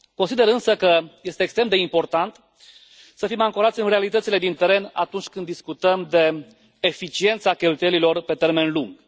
Consider, însă, că este extrem de important să fim ancorați în realitățile de pe teren atunci când discutăm de eficiența cheltuielilor pe termen lung.